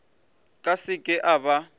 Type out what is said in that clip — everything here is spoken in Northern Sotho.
ka se ke a ba